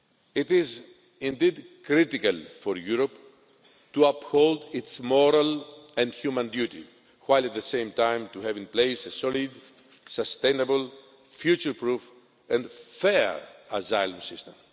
It is indeed critical for Europe to uphold its moral and human duty while at the same time to have in place a solid, sustainable, future proof and fair asylum system.